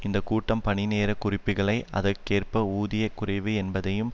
இந்த கூட்டம் பணி நேர குறைப்புக்களை அதற்கேற்ப ஊதிய குறைப்பு என்பதையும்